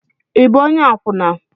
Ị bụ onye akwụna?